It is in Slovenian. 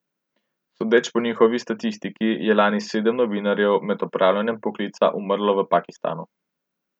Sodeč po njihovi statistiki je lani sedem novinarjev med opravljanjem poklica umrlo v Pakistanu.